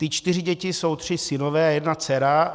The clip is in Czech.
Ty čtyři děti jsou tři synové a jedna dcera.